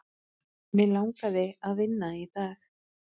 Mig langaði að vinna í dag.